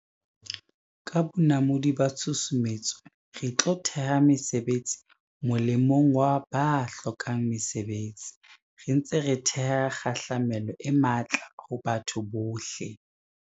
Ka bonamodi ba tshusumetso, re tlo theha mesebetsi molemong wa ba hlokang mesebetsi, re ntse re theha kgahlamelo e matla ho batho bohle.